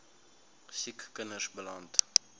siek kinders beland